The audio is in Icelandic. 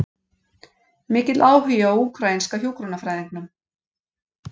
Mikill áhugi á úkraínska hjúkrunarfræðingnum